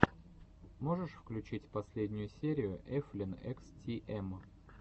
можешь включить последнюю серию эфлин экс ти эм